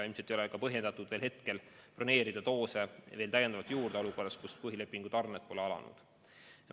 Ilmselt ei ole põhjendatud praegu broneerida doose täiendavalt juurde, kuna põhilepingu tarned pole alanud.